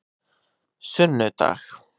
sunnudag